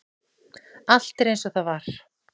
Allt er eins og það var.